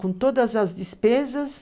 Com todas as despesas,